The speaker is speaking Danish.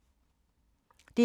DR2